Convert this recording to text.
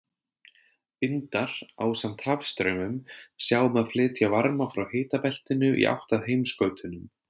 Vindar, ásamt hafstraumum, sjá um að flytja varma frá hitabeltinu í átt að heimsskautunum.